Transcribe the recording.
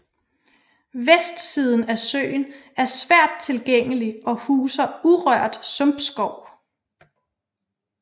Vestsiden af søen er svært tilgængelig og huser urørt sumpskov